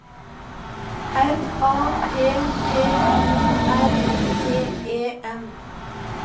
R A P P O R T E N